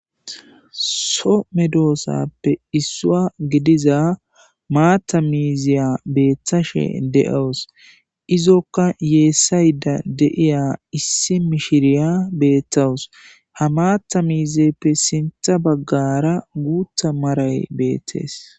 So medoosappe issua gidiza maatta miiziya beeththashe de'owus izokka yeessayda deiya issi mishiriya beettawus ha maatha miizeppe sintha baggara guutha maray beettees.